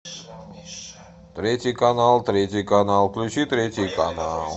третий канал третий канал включи третий канал